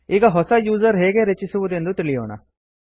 ಈಗ ಹೊಸ ಯೂಸರ್ ಹೇಗೆ ರಚಿಸುವುದೆಂದು ತಿಳಿಯೋಣ